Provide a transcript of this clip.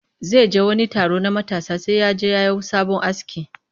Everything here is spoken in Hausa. Zai je wani taro na matasa sai ya je ya yi sabo aski